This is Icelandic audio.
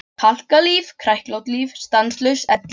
Kalkað líf, kræklótt líf, stanslaus elli.